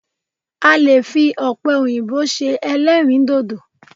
A lè fi ọ̀pẹ òyìnbó ṣe ẹlẹ́dìndòdò